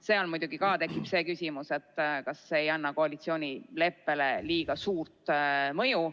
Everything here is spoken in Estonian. Siis tekib muidugi ka küsimus, kas see ei anna koalitsioonileppele liiga suurt mõju.